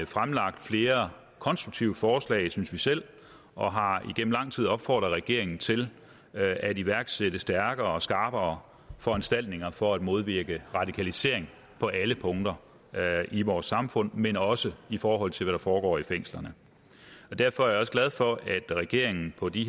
fremlagt flere konstruktive forslag synes vi selv og har igennem lang tid opfordret regeringen til at iværksætte stærkere og skarpere foranstaltninger for at modvirke radikalisering på alle punkter i vores samfund men også i forhold til hvad der foregår i fængslerne derfor er jeg også glad for at regeringen på de